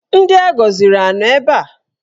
Ndị agọziri anọ ebe a?